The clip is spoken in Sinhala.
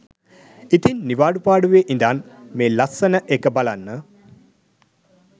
ඉතිං නිවාඩු පාඩුවේ ඉදන් මේ ලස්සනඑක බලන්න